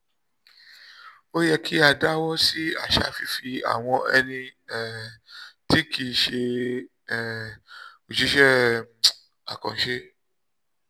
ó yẹ kí a dáwọ́ sí àṣà fífi àwọn ẹni um tí kì í ṣe um òṣìṣẹ́ um àkànṣe